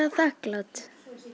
þakklát